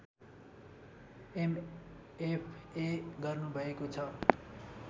MFA गर्नुभएको छ